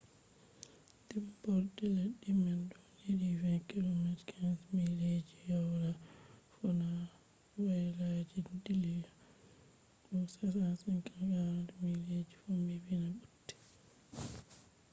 dimborde leddi man do hedi 20 km 15 mileji woyla- fuuna woyla je dilllon bo 65 km 40 mile ji fombina butte